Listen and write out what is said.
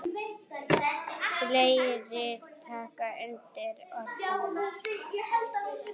Fleiri taka undir orð hennar.